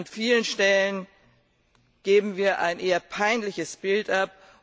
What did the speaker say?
An vielen Stellen geben wir ein eher peinliches Bild ab.